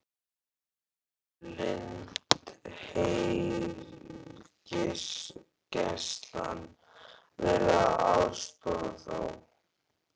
Hefur Landhelgisgæslan verið að aðstoða þá?